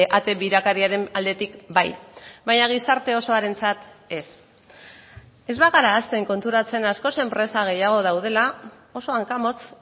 ate birakariaren aldetik bai baina gizarte osoarentzat ez ez bagara hasten konturatzen askoz enpresa gehiago daudela oso hankamotz